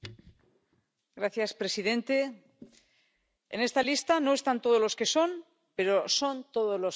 Señor presidente, en esta lista no están todos los que son, pero son todos los que están.